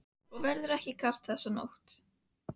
Og verður ekki kalt þessa nótt.